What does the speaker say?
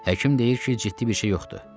Həkim deyir ki, ciddi bir şey yoxdur.